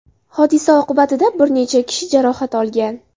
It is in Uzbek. Hodisa oqibatida bir necha kishi jarohat olgan.